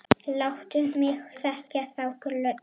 Láttu mig þekkja þá gömlu!